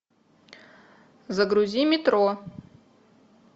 загрузи метро